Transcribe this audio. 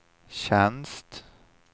tjänst